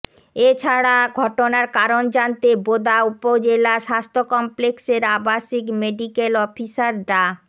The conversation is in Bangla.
এ ছাড়া ঘটনার কারণ জানতে বোদা উপজেলা স্বাস্থ্য কমপ্লেক্সের আবাসিক মেডিক্যাল অফিসার ডা